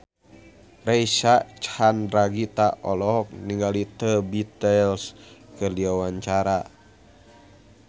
Reysa Chandragitta olohok ningali The Beatles keur diwawancara